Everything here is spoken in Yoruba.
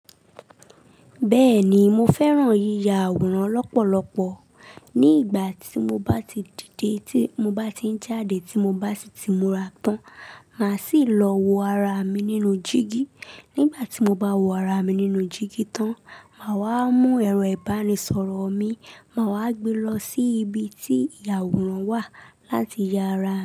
Bẹ́ẹ̀ ni, mo fẹ́ran yíya àwòrán lọ́pọ̀lọpọ̀. Ní ìgbà tí mo bá ti dìde, tí mo bá ti n jáde, tí mo bá ti si mura tán, màá sì lọ wo ara mi nínú jígí. Nígbà tí mo bá wo ara mi nínú jígí tán, màá wá mú ẹ̀rọ ìbánisọ̀rọ̀ mi, màá wá gbe lọ sí ibi tí ìyàwòrán wà láti ya ara.